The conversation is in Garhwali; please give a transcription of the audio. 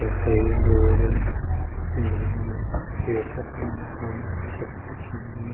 यख एक रोड़ पेड़ तखम मकान कु छत दिखेंण लगीं।